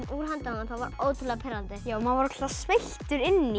úr höndunum það var ótrúlega pirrandi maður var sveittur inni í